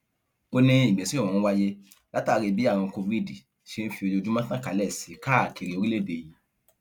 ó ní ìgbésẹ ọhún wáyé látàrí bí àrùn covid ṣe ń fi ojoojúmọ tàn kálẹ sí i káàkiri orílẹèdè yìí